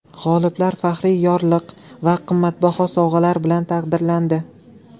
G‘oliblar faxriy yorlik va qimmatbaho sovg‘alar bilan taqdirlandi.